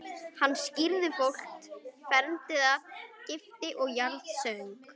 Hann skírði fólk, fermdi það, gifti og jarðsöng.